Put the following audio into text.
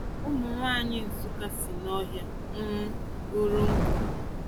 Ụmụ nwaanyị Nsukka si nohia um buru nkụ.